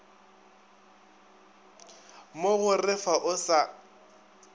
mo go ref o sa